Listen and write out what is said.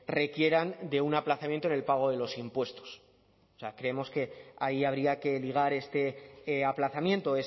requieran de un aplazamiento en el pago de los impuestos o sea creemos que ahí habría que ligar este aplazamiento